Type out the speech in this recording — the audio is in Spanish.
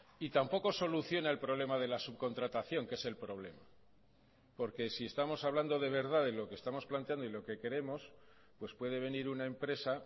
y tampoco soluciona el problema de la subcontratación que es el problema porque si estamos hablando de verdad de lo que estamos planteando y lo que queremos pues puede venir una empresa